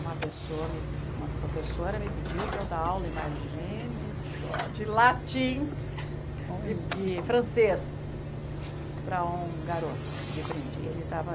Uma pessoa me, uma professora me pediu para eu dar aula, imagine só, de latim e e francês para um garoto de ele estava